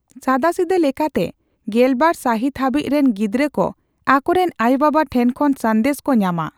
ᱥᱟᱫᱟᱥᱤᱫᱟᱹ ᱞᱮᱠᱟᱛᱮ ᱜᱮᱞᱵᱟᱨ ᱥᱟᱦᱤᱛ ᱦᱟᱹᱵᱤᱡ ᱨᱤᱱ ᱜᱤᱫᱽᱨᱟᱹ ᱠᱚ ᱟᱠᱚ ᱨᱮᱱ ᱟᱭᱳᱼᱵᱟᱵᱟ ᱴᱷᱮᱱ ᱠᱷᱚᱱ ᱥᱟᱸᱫᱮᱥ ᱠᱚ ᱧᱟᱢᱟ ᱾